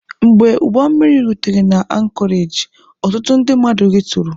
Mgbe ụgbọmmiri rutere na ankọreji, ọtụtụ ndị mmadụ rituru.